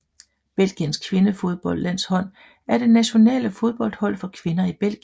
Belgiens kvindefodboldlandshold er det nationale fodboldhold for kvinder i Belgien